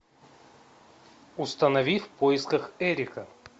установи в поисках эрика